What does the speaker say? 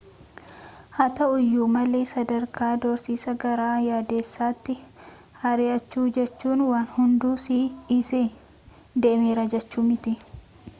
haa ta'uuyyu malee sadarkaan doorsisa gara yaadessatti hir'aachu jechuun waan hundu si dhisee deemera jechuu miti